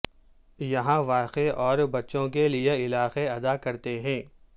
یہاں واقع اور بچوں کے لئے علاقے ادا کرتے ہیں